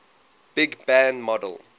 big bang model